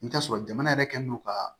I bɛ t'a sɔrɔ jamana yɛrɛ kɛlen don ka